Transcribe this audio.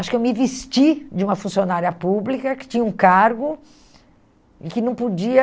Acho que eu me vesti de uma funcionária pública que tinha um cargo e que não podia...